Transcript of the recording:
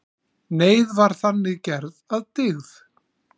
Neyð var þannig gerð að dygð.